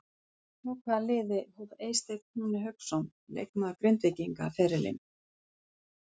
Hjá hvaða liði hóf Eysteinn Húni Hauksson leikmaður Grindvíkinga ferilinn?